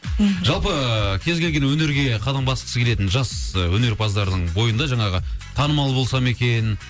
мхм жалпы кез келген өнерге қадам басқысы келетін жас өнерпаздардың бойында жаңағы танымал болсам екен